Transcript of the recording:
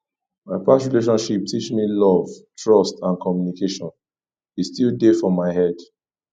my past relationship teach me love trust and communication e still dey for my head